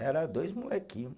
Era dois molequinho.